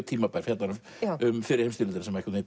tímabær fjallar um fyrri heimsstyrjöldina sem er